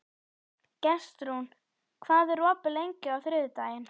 Gestrún, hvað er opið lengi á þriðjudaginn?